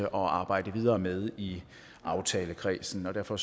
og arbejde videre med i aftalekredsen derfor